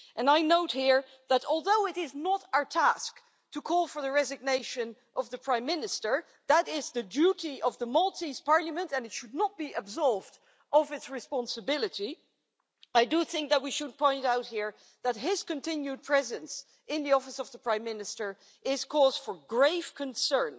I note here that, although it is not our task to call for the resignation of the Prime Minister that is the duty of the Maltese parliament and it should not be absolved of its responsibility I do think that we should point out here that his continued presence in the Office of Prime Minister is cause for grave concern,